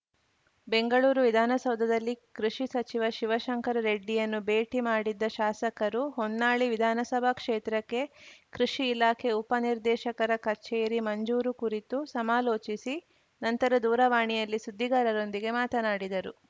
ಬೆಂಗಳೂರು ವಿಧಾನಸೌಧದಲ್ಲಿ ಕೃಷಿ ಸಚಿವ ಶಿವಶಂಕರ ರೆಡ್ಡಿರನ್ನು ಭೇಟಿ ಮಾಡಿದ್ದ ಶಾಸಕರು ಹೊನ್ನಾಳಿ ವಿಧಾನಸಭಾ ಕ್ಷೇತ್ರಕ್ಕೆ ಕೃಷಿ ಇಲಾಖೆ ಉಪನಿರ್ದೇಶಕರ ಕಚೇರಿ ಮಂಜೂರು ಕುರಿತು ಸಮಾಲೋಚಿಸಿ ನಂತರ ದೂರವಾಣಿಯಲ್ಲಿ ಸುದ್ದಿಗಾರರೊಂದಿಗೆ ಮಾತನಾಡಿದರು